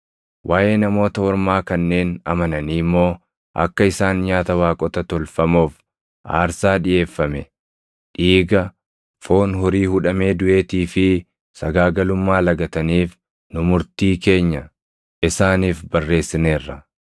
Waaʼee Namoota Ormaa kanneen amananii immoo akka isaan nyaata waaqota tolfamoof aarsaa dhiʼeeffame, dhiiga, foon horii hudhamee duʼeetii fi sagaagalummaa lagataniif nu murtii keenya isaaniif barreessineerra.”